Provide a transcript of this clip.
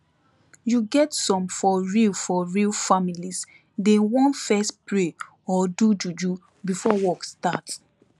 you get some for real for real families dey want fess pray or do juju before work start